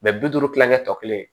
bi duuru kilankɛ tɔ kelen